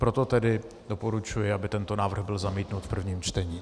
Proto tedy doporučuji, aby tento návrh byl zamítnut v prvním čtení.